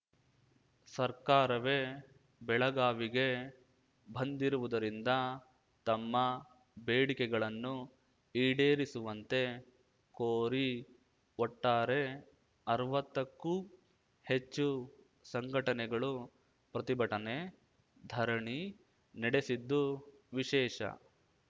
ಸರ್ಕಾರವೇ ಬೆಳಗಾವಿಗೆ ಬಂದಿರುವುದರಿಂದ ತಮ್ಮ ಬೇಡಿಕೆಗಳನ್ನು ಈಡೇರಿಸುವಂತೆ ಕೋರಿ ಒಟ್ಟಾರೆ ಅರ್ವತ್ತಕ್ಕೂ ಹೆಚ್ಚು ಸಂಘಟನೆಗಳು ಪ್ರತಿಭಟನೆ ಧರಣಿ ನಡೆಸಿದ್ದು ವಿಶೇಷ